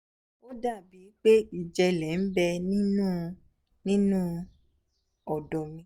ó dà bíi pé ìjẹ́lẹ̀ ń bẹ nínú nínú ọ̀dọ́ mi